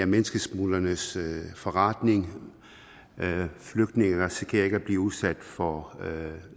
menneskesmuglernes forretning og flygtninge risikerer ikke at blive udsat for